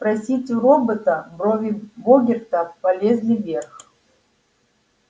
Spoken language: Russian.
спросить у робота брови богерта полезли вверх